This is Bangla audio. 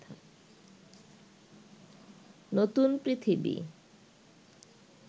নতুন পৃথিবী